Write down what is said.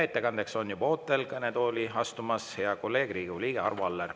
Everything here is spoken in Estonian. Ettekandeks on juba ootel kõnetooli astumas hea kolleeg, Riigikogu liige Arvo Aller.